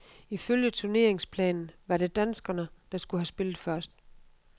Ifølge turneringsplanen var det danskerne, der skulle have spillet først.